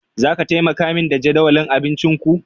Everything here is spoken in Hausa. Zaka taimaka min da jadawalin abincinku?